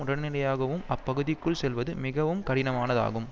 உடனடியாகவும் அப்பகுதிக்குள் செல்வது மிகவும் கடினமானதாகும்